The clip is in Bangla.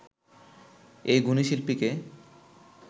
এই গুণী শিল্পীকে